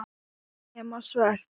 Nema svört.